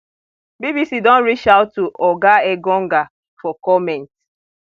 bbc don reach out to oga engonga for comment